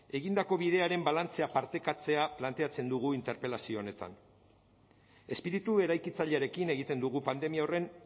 egindako bidearen balantzea partekatzea planteatzen dugu interpelazio honetan espiritu eraikitzailearekin egiten dugu pandemia horren